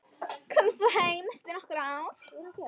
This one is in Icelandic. Komið svo heim eftir nokkur ár.